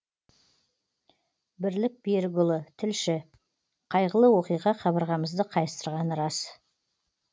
бірлік берікұлы тілші қайғылы оқиға қабырғамызды қайыстырғаны рас